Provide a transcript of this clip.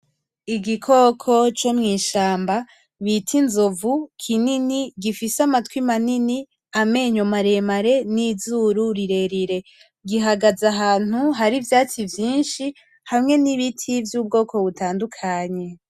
Igikoko co mw'ishamba bita inzovu kinini gifise amatwi manini; amenyo maremare n'izuru rirerire. Gihagaze ahantu hari ivyatsi vyinshi hamwe n'biti vy'ubwoko butandukanye.